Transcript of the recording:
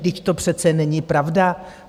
Vždyť to přece není pravda!